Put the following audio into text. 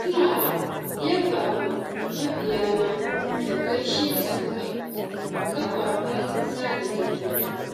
ina yabawa mabiyana da gaishe su a kafafen sada zumunta